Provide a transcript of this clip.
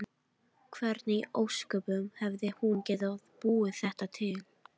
Hvernig í ósköpunum hefði hún getað búið þetta til?